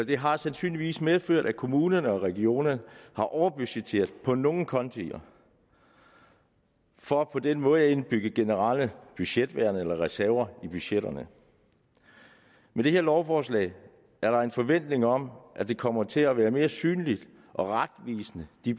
det har sandsynligvis medført at kommunerne og regionerne har overbudgetteret på nogle konti for på den måde at indbygge generelle budgetværn eller reserver i budgetterne med det her lovforslag er der en forventning om at budgetterne fremadrettet kommer til at være mere synlige og retvisende det